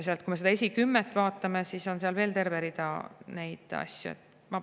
Ja kui me seda esikümmet vaatame, siis näeme seal veel tervet rida selliseid asju.